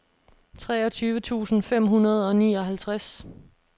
treogtyve tusind fem hundrede og nioghalvtreds